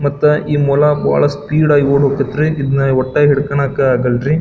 ಮತ್ತೆ ಈ ಮೊಲಾ ಬಹಳ ಸ್ಪೀಡ್ ಆಗಿ ಓಡ ಕುತ್ರಿ ಇದ್ನ ಒಟ್ಟ ಹಿಡಕೊಣಕ್ ಆಗಲ್ರಿ --